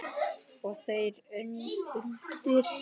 Og þar undir